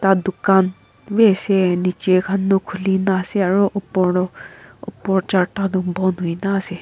La dukan bi ase niche khan toh khuli na ase aro upor toh upor charta toh bon hoina ase.